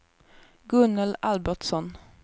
Gunnel Albertsson